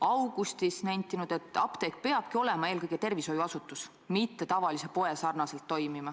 Augustis oled nentinud, et apteek peabki olema eelkõige tervishoiuasutus, mitte toimima tavalise poe sarnaselt.